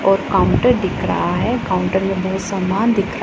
और काउंटर दिख रहा है काउंटर में बहुत सामान दि--